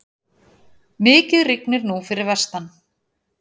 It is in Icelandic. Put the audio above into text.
Mikið rignir nú fyrir vestan.